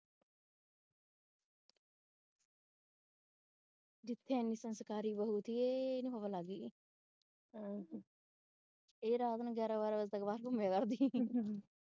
ਜਿੱਥੇ ਅਸੀਂ ਸੰਸਕਾਰੀ ਬਹੁ ਸੀ ਇਹਨੂੰ ਹਵਾ ਲੱਗ ਗਈ ਇਹ ਰਾਤ ਨੂੰ ਗਿਆਰਾਂ ਬਾਰਾਂ ਵਜੇ ਤੱਕ ਬਾਹਰ ਘੁੰਮੇ ਕਰਦੀ .